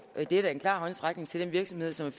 det er da en klar håndsrækning til den virksomhed som